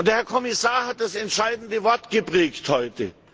Der Herr Kommissar hat das entscheidende Wort geprägt heute.